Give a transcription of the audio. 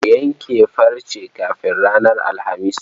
Ku yanke farce kafin ranar Litini.